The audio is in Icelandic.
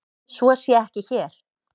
Svo sé ekki hér.